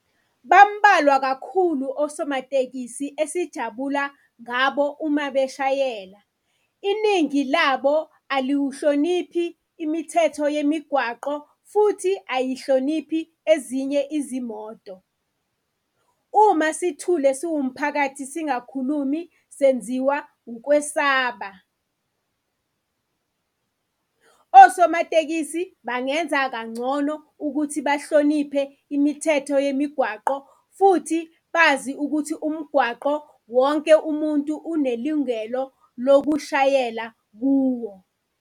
Bambalwa kakhulu osomatekisi esijabula ngabo uma beshayela, iningi labo aliwuhloniphi imithetho yemigwaqo futhi ayihloniphi ezinye izimoto. Uma sithule siwumphakathi singakhulumi senziwa ukwesaba. Osomatekisi bangenza kangcono ukuthi bahloniphe imithetho yemigwaqo futhi bazi ukuthi umgwaqo wonke umuntu unelungelo lokushayela kuwo.